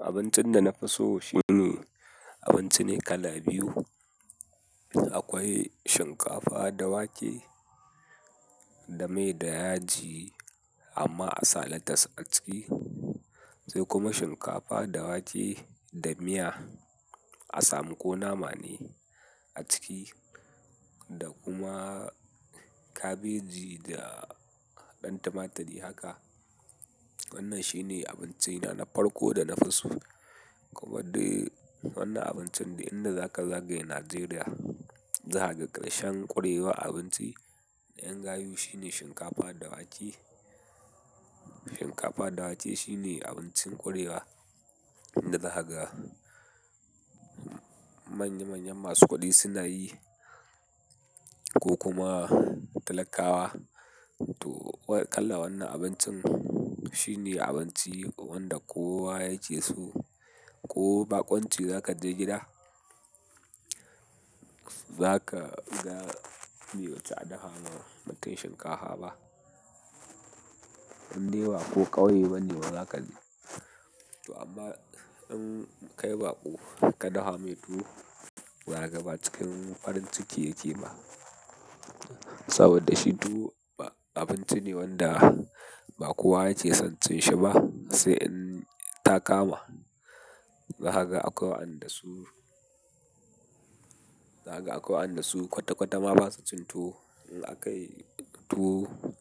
Abincin da na fi so shine abinci ne kala biyu. Akwai shinkafa da wake da mai da yaji amma a sa latas a ciki sai kuma shinkafa da wake da miya a samu ko nama ne a ciki da kuma kabeji da ɗan tumaturi haka. Wannan shine abinci na na farko da na fi so. Kuma dai wannan abincin duk inda zaka zagaya Najeriya, zakaga ƙarshen ƙurewa abinci da 'yan gayu shine shinkafa da wake. Shinkafa da wake shine abincin ƙurewa da zakaga. Manya manyan masu kuɗi suna yi ko kuma talakawa. To kalar wannan abincin shine abinchi wanda kowa yake so koh bakunchi zakaje gida zaka ga be wuci a dafa ma mutum shinkaha ba. Inde ba ko ƙauye bane wa zaka je. To amma in kai baƙo ka daha mai tuwo, za ka ga ba cikin farin ciki yake ba saboda shi tuwo abinci ne wanda ba kowa yake son cinshi ba sai inta kama. Zakaga akwai waɗanda su, zakaga akwai waɗanda su kwata kwata ma ba su cin tuwo. In aka yi tuwo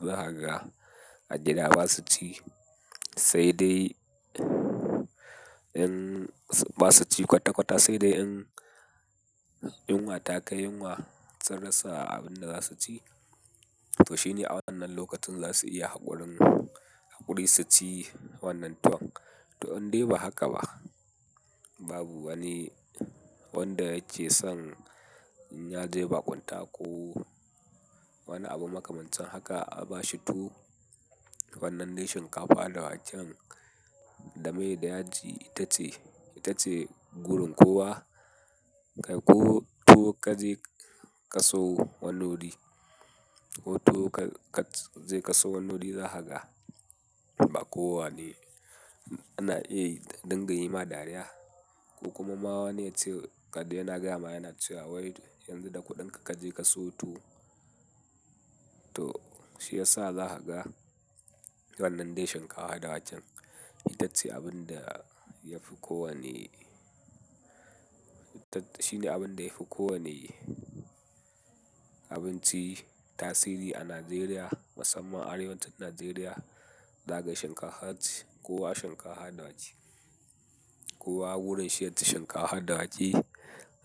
zahaga a gida ba su ci sai dai in ba su ci kwata kwata sai dai in yunwa ta kai yunwa sun rasa abin da za su ci. To shine a wannan lokacin za su iya haƙorin, haƙori su ci wannan tuwon. To indai ba haka ba. Babu wani wanda ya ce son inya je baƙunta ko wani abu makamancin haka a ba shi tuwo. Wannan dai shinkafa da waken da mai da yaji ita ce, ita ce gurin kowa. Kai ko tuwo ka je ka siwo wani wuri ko tuwo ka je ka sieo wani wuri zahaga ba kowa ne ana iya dinga yi ma dariya ko kuma mawani yace kada yana gama yana cewa wai yanzu da kuɗinka kaje ka siyo tuwo. To shi ya sa zahaga wannan dai shinkafa da waken ita ce abin da yafi kowane, ita shine abin da yafi kowane abinci tasiri a Najeriya musamman arewacin Najeriya zahaga shinkaha ce. Kowa shinkaha da wake. Kowa gurin shi ya ci shinkaha da wake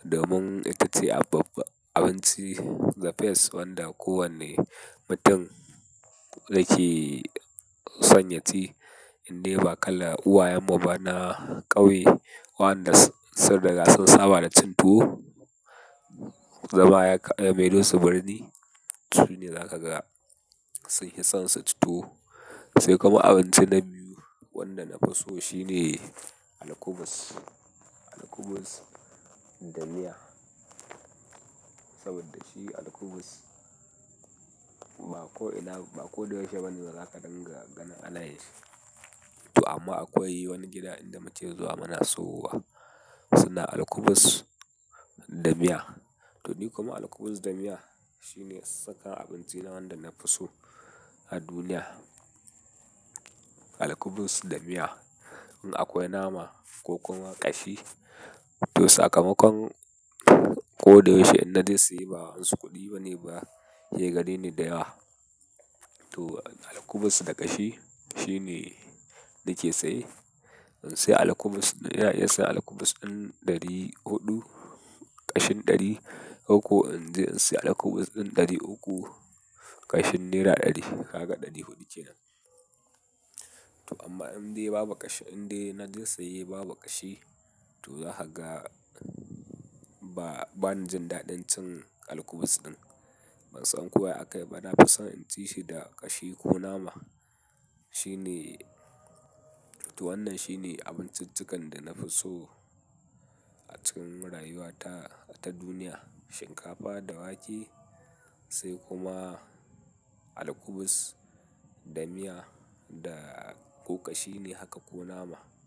domin ita ce abab- abinci the best wanda kowane mutum yake son ya ci. Inde ba kala uwayen mu ba na ƙauye waɗanda sai ruga sun saba da cin tuwo, zama ya kai ya maido su birni, sune za ka ga sun hi son su ci tuwo. Sai kuma abinci na biyu wanda na fi so shine alkubus. Alkubus da miya saboda shi alkubus ba ko ina, ba ko da yaushe bane za ka dinga ganin ana yin shi. To amma akwai wani gida inda muke zuwa muna sawo wa suna alkubus da miya. To ni kuma alkubus da miya shine sakan abinci na wanda na fi so a duniya. Alkubus da miya in akwai nama ko kuma kashi to saka makon koda yaushe in naje saye ba wasu kudi bane ba ke gareni da yawa to alkubus da ƙashi shine nake saye. In sayi alkubus na iya sayan alkubus ɗin ɗari huɗu ƙashin ɗari koko in je in sayi alkubus ɗin ɗari uku ƙashin nera ɗari haka ɗari huɗu kenan. To amma indai babu ƙashi, indai na je saye babu ƙashi to zahaga ba, bani jin daɗin cin alkubus ɗin. Bansan ko ya akayi bah nafison inchishi da kashi koh nama shine toh wannan shine abinciccikan da nafi so acikin rayuwata ta duniya. Shinkafa da wake sai kuma alkubus da miya da ko ƙashi ne haka ko nama.